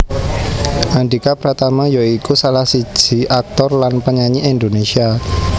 Andhika Pratama ya iku salah siji aktor lan penyanyi Indonésia